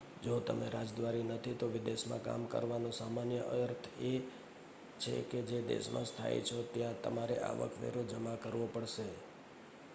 જો તમે રાજદ્વારી નથી તો વિદેશમાં કામ કરવાનો સામાન્ય અર્થ એ છે કે જે દેશમાં સ્થાયી છો ત્યાં તમારે આવક વેરો જમા કરવો પડશે